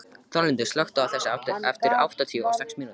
Þórlindur, slökktu á þessu eftir áttatíu og sex mínútur.